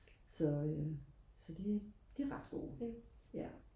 så øh så de er ret gode ja